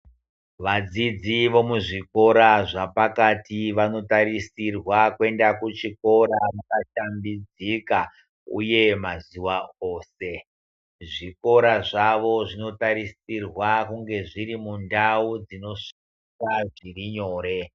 Vadzidzi vemuzvikora zvapakati vanotarisirwa kuenda kuzvikora vakashambidzika uye mazuwa ose zvikora zvavo zvinotarisirwa kunge zviri mundau dzinosvikwa zvirinyore.